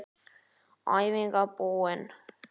Æfingin búin!